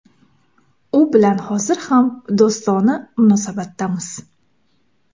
U bilan hozir ham do‘stona munosabatdamiz.